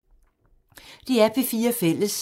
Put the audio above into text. DR P4 Fælles